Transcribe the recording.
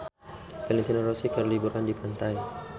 Valentino Rossi keur liburan di pantai